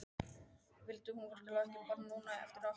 Vildi hún virkilega eiga barn núna, eftir allt saman?